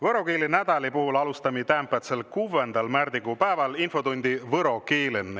Võro keele nädäli puhul alostami täämbädsel, kuvvendal märdikuu pääväl infotundi võro keelen.